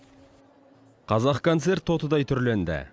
қазақконцерт тотыдай түрленді